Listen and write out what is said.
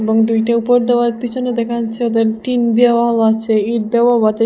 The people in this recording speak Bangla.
এবং দুইটা উপর দেওয়াল পিছনে দেখা যাচ্ছে ওদের টিন দেওয়াও আছে ইট দেওয়াও আছে সে--